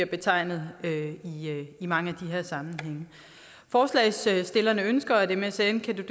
betegnelse i mange af de her sammenhænge forslagsstillerne ønsker at msm kan